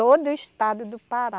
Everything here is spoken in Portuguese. Todo o estado do Pará.